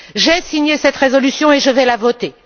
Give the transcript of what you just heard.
J'ai signé cette résolution et je vais la voter.